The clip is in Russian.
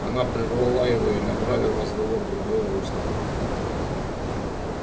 она прервала его и направив разговор в другое русло